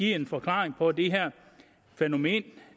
en forklaring på det her fænomen